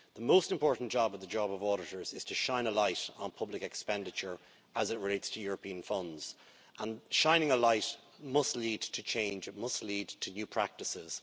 The most important job of the job of auditors is to shine a light on public expenditure as it relates to European funds, and shining a light must lead to change, it must lead to new practices.